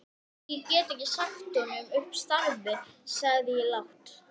Ég meina er nokkuð hægt annað?